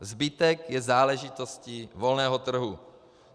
Zbytek je záležitostí volného trhu.